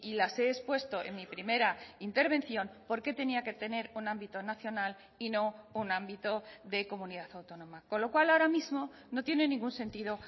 las he expuesto en mi primera intervención porqué tenía que tener un ámbito nacional y no un ámbito de comunidad autónoma con lo cual ahora mismo no tienen ningún sentido